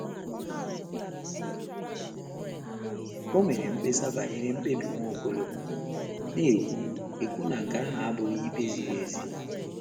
Ò mere mkpesa banyere mkpebi Nwaokolo, na - ekwu - ekwu na nke ahụ abụghị ikpe ziri ezi?